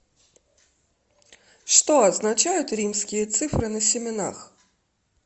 что означают римские цифры на семенах